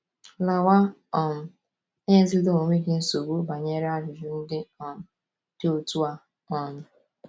“ Lawa um, enyezila onwe gị nsogbu banyere ajụjụ ndị um dị otú a um! ”